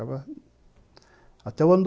Até o ano